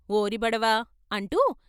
' ఓరి భడవా ' అంటూ